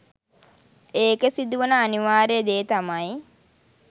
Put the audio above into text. ඒකෙ සිදුවෙන අනිවාර්ය දේ තමයි